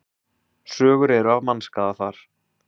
Sögur eru af mannskaða þar.